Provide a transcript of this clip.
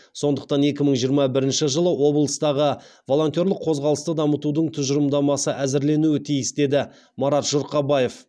сондықтан екі мың жиырма бірінші жылы облыстағы волонтерлік қозғалысты дамытудың тұжырымдамасы әзірленуі тиіс деді марат жұрқабаев